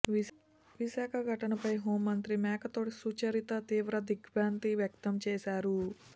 విశాఖ ఘటనపై హోంమంత్రి మేకతోటి సుచరిత తీవ్ర దిగ్భ్రాంతి వ్యక్తం చేశారు